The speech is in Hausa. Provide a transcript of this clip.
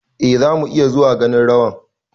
eh, zamu iya zuwa ganin rawan